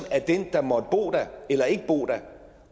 dem der måtte bo der eller ikke bo der